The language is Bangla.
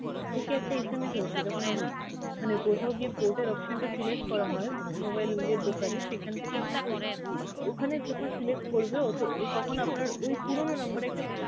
থেকে একটা initail SMS আসে যখন আমরা মানে কোথাও গিয়ে port এর option টা select করা হয় mobile এর দোকানে সেখান থেকে আপনাকে ও~ ওখানে যখন select করবে ওতো~ তখন আপনার ওই পুরনো number এ একটা